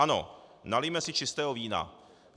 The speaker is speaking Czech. Ano, nalijme si čistého vína.